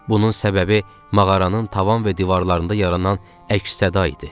Bunun səbəbi mağaranın tavan və divarlarında yaranan əks-səda idi.